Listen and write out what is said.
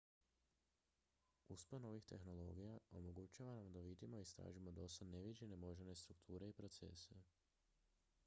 uspon novih tehnologija omogućava nam da vidimo i istražimo dosad neviđene moždane strukture i procese